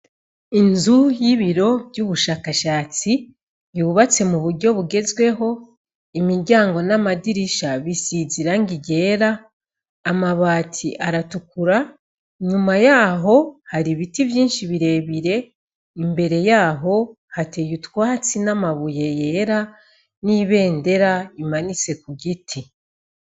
Inzu y'ibiro vy'ubushakashatsi yubatse mu buryo bugezweho, imiryango n'amadirisha bisize irangi ryera, amabati aratukura, nyuma yaho hari ibiti vyinshi birebire, imbere yaho hateye utwatsi n'amabuye yera n'ibendera imanitse ku giti.